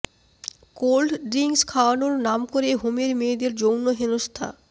cold drinks খাওয়ানোর নাম করে হোমের মেয়েদের যৌন হেনস্থা